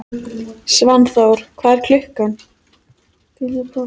Svanþór, hvað er klukkan?